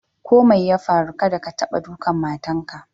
Ko mai ya farru, kadda ka taɓa ɗukan matan ka!